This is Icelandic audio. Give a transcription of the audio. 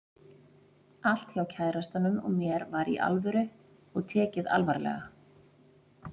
Allt hjá kærastanum og mér var Í ALVÖRU og tekið alvarlega.